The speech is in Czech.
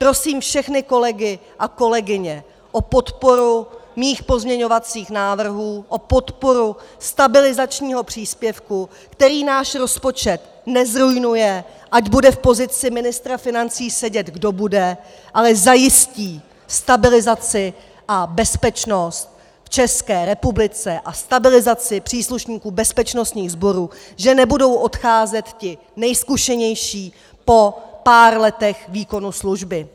Prosím všechny kolegy a kolegyně o podporu mých pozměňovacích návrhů, o podporu stabilizačního příspěvku, který náš rozpočet nezruinuje, ať bude v pozici ministra financí sedět, kdo bude, ale zajistí stabilizaci a bezpečnost v České republice a stabilizaci příslušníků bezpečnostních sborů, že nebudou odcházet ti nejzkušenější po pár letech výkonu služby.